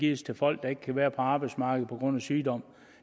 gives til folk der ikke kan være på arbejdsmarkedet på grund af sygdom